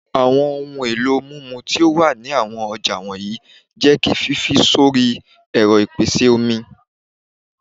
Awọn ohun elo mimu ti o wa ni awọn ọja wọnyi jẹ ki fifi sori ẹrọ ipese omi